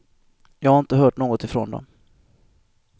Jag har inte hört något ifrån dem.